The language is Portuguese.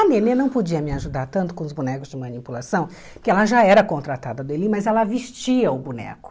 A Nenê não podia me ajudar tanto com os bonecos de manipulação, porque ela já era contratada dele, mas ela vestia o boneco.